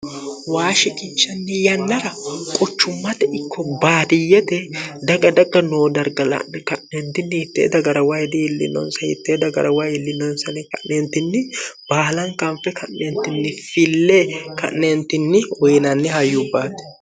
waa shiqinshanni yannara quchummate ikko baadiyyete daga daga noo darga la'ne ka'neentinni hittee dagarawa diillinoonsa hittee dagarawa iillinoonsa ka'neentinni baalanta banfe ka'neentinni fille ka'neentinni woyinanni hayyubbaati